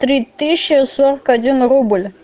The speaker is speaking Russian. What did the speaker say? три тысячи сорок один рубль